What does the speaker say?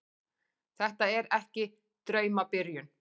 Þetta er ekki draumabyrjun.